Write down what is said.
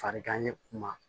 Farigan ye kun ma